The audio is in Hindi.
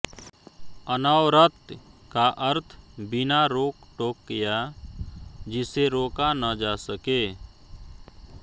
अनवरत का अर्थ बिना रोकटोक या जिसे रोका न जा सके